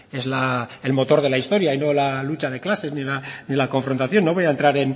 es el motor de la historia y no la lucha de clases ni la confrontación no voy a entrar